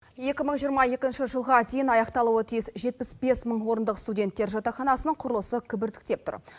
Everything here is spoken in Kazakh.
екі мың жиырма екінші жылға дейін аяқталуы тиіс жетпіс бес мың орындық студенттер жатақханасының құрылысы кібіртіктеп тұр